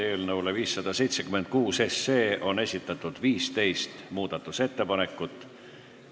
Eelnõu 576 kohta on esitatud 15 muudatusettepanekut.